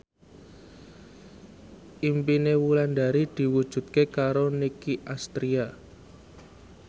impine Wulandari diwujudke karo Nicky Astria